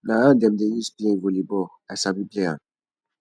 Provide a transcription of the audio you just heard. na hand dem dey use play vollyball i sabi play am